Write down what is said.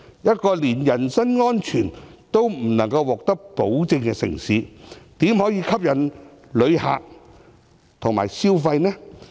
一個連人身安全也不能獲得保證的城市，怎可能吸引旅客到來消費？